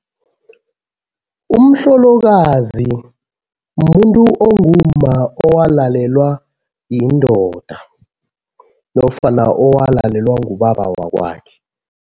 Umhlolokazi mumuntu ongumma owalalelwa yindoda nofana owalalelwa ngubaba wakwakhe.